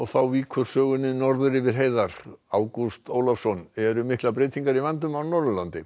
þá víkur sögunni norður yfir heiðar þar Ágúst Ólafsson eru miklar breytingar í vændum á Norðurlandi